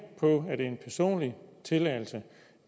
på at det er en personlig tilladelse